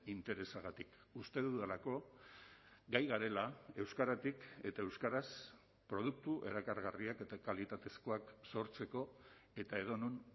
interesagatik uste dudalako gai garela euskaratik eta euskaraz produktu erakargarriak eta kalitatezkoak sortzeko eta edonon